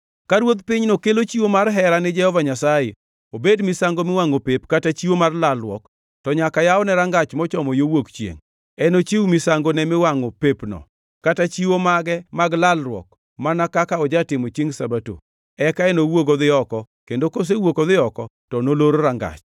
“ ‘Ka ruodh pinyno kelo chiwo mar hera ni Jehova Nyasaye, obed misango miwangʼo pep kata chiwo mar lalruok, to nyaka yawne rangach mochomo yo wuok chiengʼ. Enochiw misangone miwangʼo pepno kata chiwo mage mag lalruok mana kaka ojatimo chiengʼ Sabato. Eka enowuog odhi oko, kendo kosewuok odhi oko, to nolor rangach.